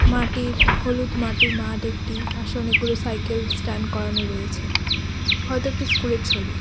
মাটির হলুদ মাটির মাঠ একটি পাশে অনেকগুলো সাইকেল স্ট্যান্ড করানো রয়েছে হয়তো একটি স্কুল -এর ছবি।